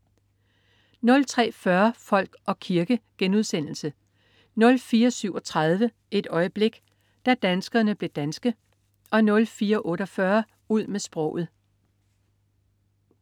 03.40 Folk og kirke* 04.37 Et øjeblik. Da danskerne blev danske 04.48 Ud med sproget